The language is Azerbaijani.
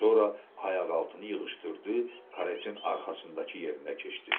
Sonra ayaq altını yığışdırdı, karetin arxasındakı yerinə keçdi.